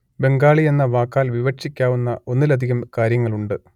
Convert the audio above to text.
ബംഗാളി എന്ന വാക്കാൽ വിവക്ഷിക്കാവുന്ന ഒന്നിലധികം കാര്യങ്ങളുണ്ട്